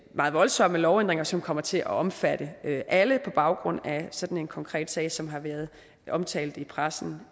meget voldsomme lovændringer som kommer til at omfatte alle på baggrund af sådan en konkret sag som har været omtalt i pressen